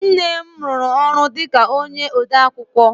Nne m rụrụ ọrụ dịka onye odeakwụkwọ